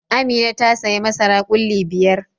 Amina ta sayi masara ƙulli biyar.